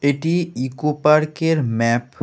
এটি eco park -এর map.